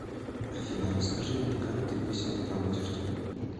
афина расскажи мне как ты весело проводишь день